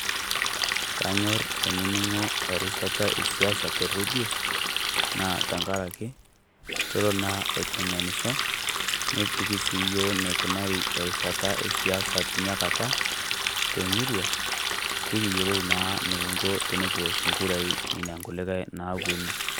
Kanyorr ainining'o erishata esiasa te rredio, naa tengaraki kelo sii aiteng'enisho neliki sii iyiok eneikunari erishata esiasa tena Kata te murua pee kiyiolou naa eniking'o tenikiosh engurai tenakata teneponu.